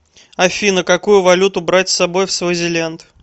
афина какую валюту брать с собой в свазиленд